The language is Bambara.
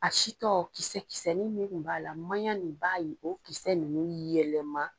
A si tɔ kisɛ kisɛnin min kun b'a la maɲan nin b'a o kisɛ ninnu yɛlɛma.